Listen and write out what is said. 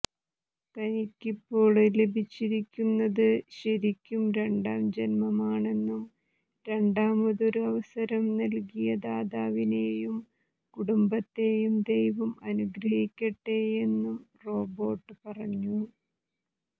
തനിക്കിപ്പോള് ലഭിച്ചിരിക്കുന്നത് ശരിക്കും രണ്ടാം ജന്മമാണെന്നും രണ്ടാമതൊരു അവസരം നല്കിയ ദാതാവിനെയും കുടുംബത്തെയും ദൈവം അനുഗ്രഹിക്കട്ടെയെന്നും റോബേര്ട്ട് പറഞ്ഞു